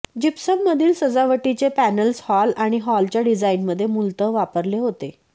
gypsum मधील सजावटीचे panels hall आणि हॉलच्या डिझाइनमध्ये मूलतः वापरले होते